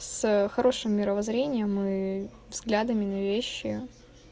с хорошим мировоззрением и взглядами на вещи